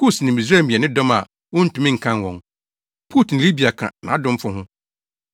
Kus ne Misraim yɛ ne dɔm a wontumi nkan wɔn. Put ne Libia ka nʼadomfo ho.